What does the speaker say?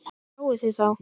Sáuð þið þá?